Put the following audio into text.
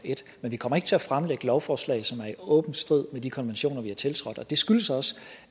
men vi kommer ikke til at fremsætte lovforslag som er i åben strid med de konventioner vi har tiltrådt og det skyldes også